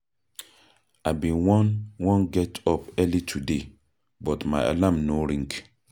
I bin wan wan get up early today, but my alarm no ring.